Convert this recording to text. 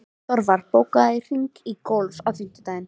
Þorvar, bókaðu hring í golf á fimmtudaginn.